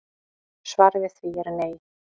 Svarið við því er nei